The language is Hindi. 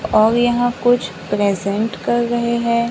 और यहां कुछ प्रेजेंट कर रहे हैं।